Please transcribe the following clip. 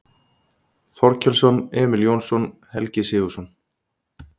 Þorkelsson, Emil Jónsson, Helgi Sigurðsson